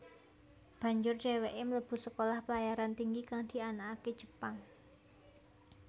Banjur dheweke mlebu Sekolah Pelayaran Tinggi kang dianakake Jepang